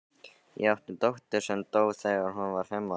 Ég átti dóttur sem dó þegar hún var fimm ára.